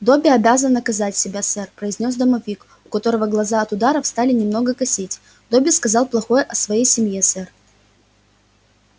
добби обязан наказать себя сэр произнёс домовик у которого глаза от ударов стали немного косить добби сказал плохое о своей семье сэр